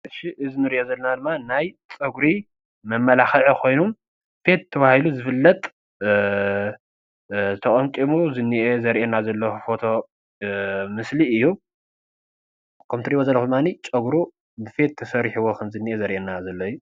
መጀመርያ ዘሪኤና ዘሎ እዚ ምስሊ ዘሪኤና ናይ ፀጉሪ መማላክዒ ኮይኑበክ ተባሂሉ ዝፍለጥ ተቀምቂሙ ዝኒሀ ዘሪኤና ዘሎ፡፡.እቲ እትሪኢዎ ዘለኩም ፀጉሩ በክ ተሰሪሑዎ ከም ዘሎ ዘሪኤና ዘሎ ምስሊ እዩ፡፡